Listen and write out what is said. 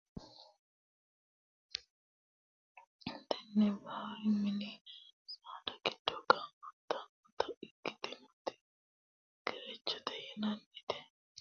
Tenne basera mini saada giddo gaamantannota ikkitinoti gerechote yinannita ikkitanna, tini gerecho danaseno duume ikkitinoti, hattono qaltino wiliilichi uulla gare no.